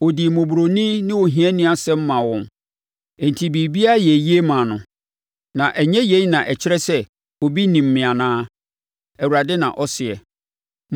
Ɔdii mmɔborɔni ne ohiani asɛm maa wɔn, enti biribiara yɛɛ yie maa no. Na ɛnyɛ yei na ɛkyerɛ sɛ obi nim me anaa?” Awurade na ɔseɛ.